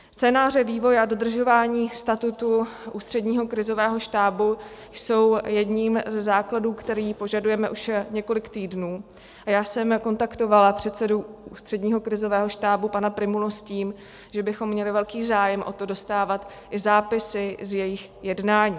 Scénáře vývoje a dodržování statutu Ústředního krizového štábu jsou jedním ze základů, který požadujeme už několik týdnů, a já jsem kontaktovala předsedu Ústředního krizového štábu pana Prymulu s tím, že bychom měli velký zájem o to dostávat i zápisy z jejich jednání.